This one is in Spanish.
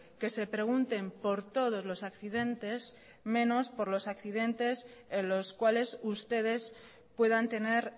que se pregunten por todos los accidentes menos por los accidentes en los cuales ustedes puedan tener